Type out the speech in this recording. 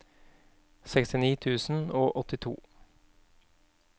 sekstini tusen og åttito